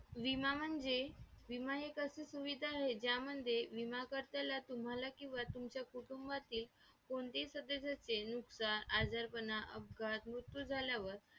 तेच लोकं सांगतात तेच समजवतात आणि त्याच्याबद्दल थोडीफार details पण देतात वेगवेगळ्या update through आपण social media through घेतात